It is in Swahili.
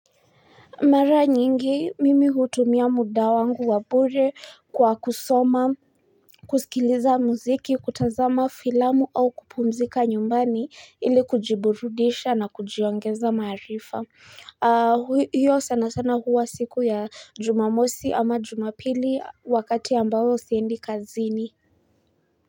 Mara nyingi, mimi hutumia muda wangu wa bure kwa kusoma, kusikiliza muziki, kutazama filamu au kupumzika nyumbani ili kujiburudisha na kujiongeza maarifa. Hiyo sana sana huwa siku ya jumamosi ama jumapili wakati ambao siendi kazini.